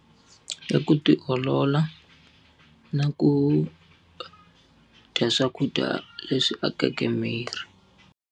I ku ti olola, na ku dya swakudya leswi akeke miri.